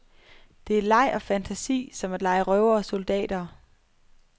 Det er leg og fantasi, som at lege røvere og soldater.